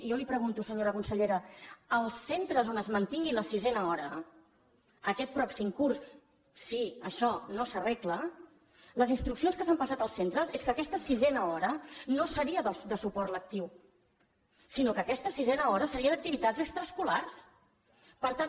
i jo li pregunto senyora consellera els centres on es mantingui la sisena hora aquest pròxim curs si això no s’arregla les instruccions que s’han passat als centres és que aquesta sisena hora no seria de suport lectiu sinó que aquesta sisena hora seria d’activitats extraescolars per tant